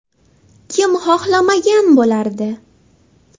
Kim xohlamagan bo‘lardi?